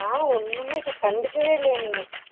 ஓ ஒன்னுமே பன் கண்டுக்கவே இல்ல என்னைய